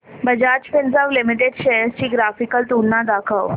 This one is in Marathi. बजाज फिंसर्व लिमिटेड शेअर्स ची ग्राफिकल तुलना दाखव